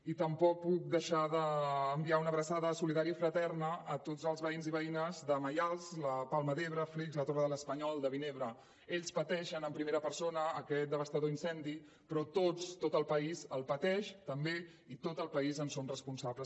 i tampoc puc deixar d’enviar una abraçada solidària i fraterna a tots els veïns i veïnes de maials la palma d’ebre flix la torre de l’espanyol de vinebre ells pateixen en primera persona aquest devastador incendi però tots tot el país el pateix també i tot el país en som responsables